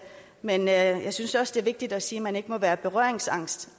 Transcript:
men jeg synes også det er vigtigt at sige at man ikke må være berøringsangst